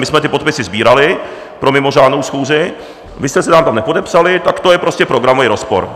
My jsme ty podpisy sbírali pro mimořádnou schůzi, vy jste se nám tam nepodepsali, tak to je prostě programový rozpor.